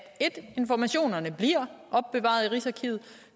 informationerne bliver opbevaret i rigsarkivet og